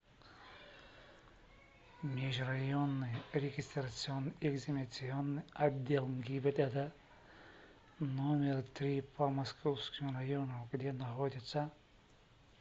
межрайонный регистрационно экзаменационный отдел гибдд номер три по московскому району где находится